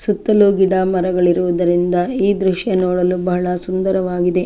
ಸುತ್ತಲು ಗಿಡಮರಗಳಿರುವುದರಿಂದ ಈ ದೃಶ್ಯ ನೋಡಲು ಬಹಳ ಸುಂದರವಾಗಿದೆ.